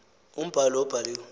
umbhalo lowo ubhaliwe